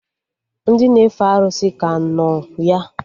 Ndị na-efe arụsị ka nọ ya